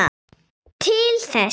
Til þessa.